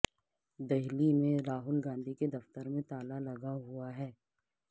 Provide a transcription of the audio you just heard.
دہلی میں راہل گاندھی کے دفتر کے باہر تالا لگا ہوا ہے